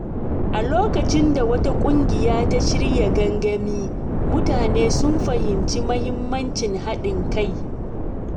A lokacin da wata ƙungiya ta shirya gangami, mutane sun fahimci muhimmancin haɗin kai.